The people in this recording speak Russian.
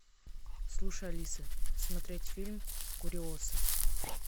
слушай алиса смотреть фильм куриоса